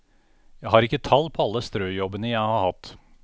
Jeg har ikke tall på alle strøjobbene jeg har hatt.